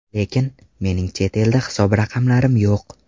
Lekin, mening chet elda hisob raqamlarim yo‘q.